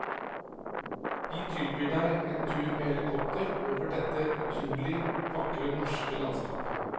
Vi tilbyr deg en tur med helikopter over dette utrolig, vakre norske landskapet.